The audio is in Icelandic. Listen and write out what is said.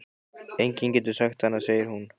Enginn getur sagt annað, segir hún.